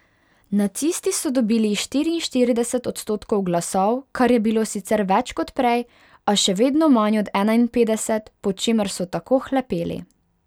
Nacisti so dobili štiriinštirideset odstotkov glasov, kar je bilo sicer več kot prej, a še vedno manj od enainpetdeset, po čemer so tako hlepeli.